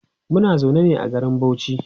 Muna zaune ne a garin Bauchi